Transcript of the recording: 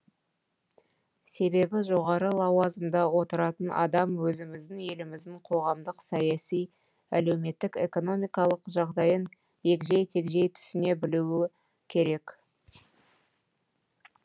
себебі жоғары лауазымда отыратын адам өзіміздің еліміздің қоғамдық саяси әлеуметтік экономикалық жағдайын егжей тегжей түсіне білуі керек